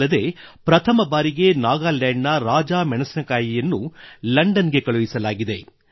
ಅಲ್ಲದೆ ಪ್ರಥಮ ಬಾರಿಗೆ ನಾಗಾಲ್ಯಾಂಡ್ ನ ರಾಜಾ ಮೆಣಸಿನಕಾಯಿಯನ್ನು ಲಂಡನ್ ಗೆ ಕಳುಹಿಸಲಾಗಿದೆ